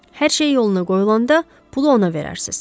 Hər şey yoluna qoyulanda pulu ona verərsiniz.